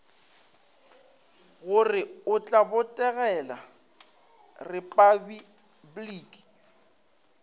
gore o tla botegela repabliki